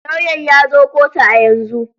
Lauyan ya zo kotu a yanzu.